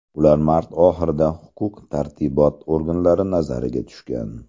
Ular mart oxirida huquq-tartibot organlari nazariga tushgan.